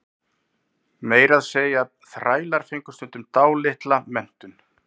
meira að segja þrælar fengu stundum dálitla menntun